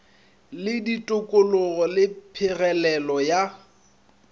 le ditokologo le phegelelo ya